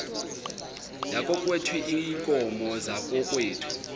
yakokwethu iinkomo zakokwethu